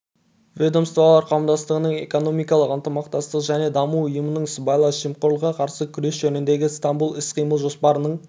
ведомстволар қауымдастығының экономикалық ынтымақтастық және даму ұйымының сыбайлас жемқорлыққа қарсы күрес жөніндегі стамбул іс-қимыл жоспарының